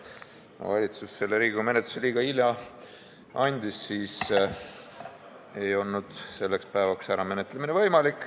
Kuna valitsus andis selle Riigikogu menetlusse liiga hilja, siis ei olnud võimalik seda selleks päevaks ära menetleda.